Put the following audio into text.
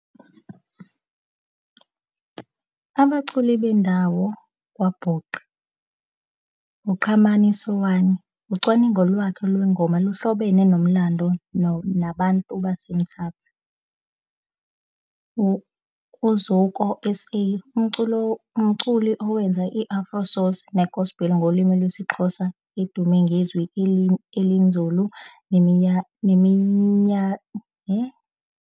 Abaculi bendawo kwaBhuqa, uQhamanisowani ucwaningo lwakhe lwengoma luhlobene nomlando nabantu baseMthatha. uZoko S_A umculo umculi owenza i-Afro source ne-Gospel ngolimi lwesiXhosa edume ngezwi elinzulu .